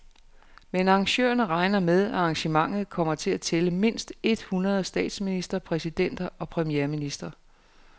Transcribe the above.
Men arrangørerne regner med, at arrangementet kommer til at tælle mindst et hundrede statsministre, præsidenter og premierministre.